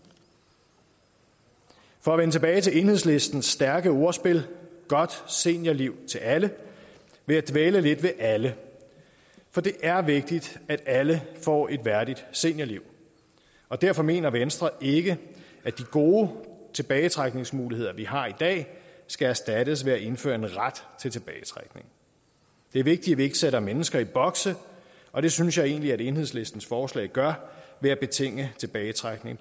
for at vende tilbage til enhedslisten stærke ordspil godt seniorliv til alle vil jeg dvæle lidt ved alle for det er vigtigt at alle får et værdigt seniorliv og derfor mener venstre ikke at de gode tilbagetrækningsmuligheder vi har i dag skal erstattes med at indføre en ret til tilbagetrækning det er vigtigt ikke sætter mennesker i boks og det synes jeg egentlig at enhedslistens forslag gør ved at betinge tilbagetrækning